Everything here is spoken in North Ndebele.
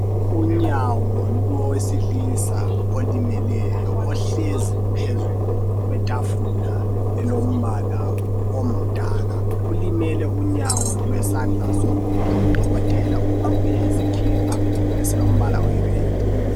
Unyawo lowesilisa olimeleyo ohlezi phezu kwetafula elilombala ongumdaka ulimele unyawo lwesandla sokudla udokotela ugqoke isikipha esilombala oyi redi.